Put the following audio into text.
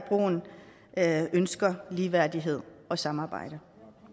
af ønsker ligeværdighed og samarbejde